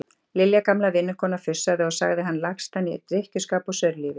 Lilja gamla vinnukona fussaði og sagði hann lagstan í drykkjuskap og saurlífi.